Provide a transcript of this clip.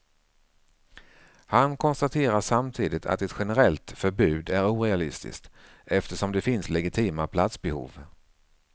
Han konstaterar samtidigt att ett generellt förbud är orealistiskt, eftersom det finns legitima platsbehov.